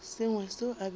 sengwe seo a bego a